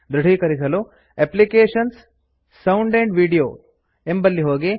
ದೃಢೀಕರಿಸಲು ಅಪ್ಲಿಕೇಶನ್ಸ್ ಅಪ್ಲಿಕೇಶನ್ಸ್gtSound ಆಂಡ್ Videoಸೌಂಡ್ ಅಂಡ್ ವೀಡಿಯೋ ಎಂಬಲ್ಲಿ ಹೋಗಿ